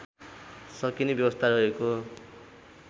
सकिने व्यवस्था रहेको